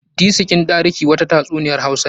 Disikin ɗariki' wata ta tsuniyan hausawa ne.